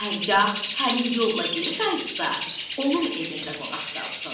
Hərgah həmin yolla geri qayıtsa, onun evində qonaq qalsın.